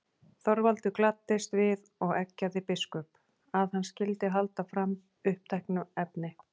Þorvaldur gladdist við og eggjaði biskup, að hann skyldi halda fram uppteknu efni.